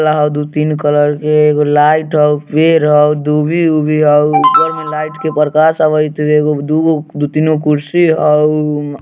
दू-तीन कलर के एगो लाइट होअ पेड़ होअ दूभी उभी होअ उज्जर में लाइट के प्रकाश आवएत एगो-दूगो दु-तीन गो कुर्सी होउम्म।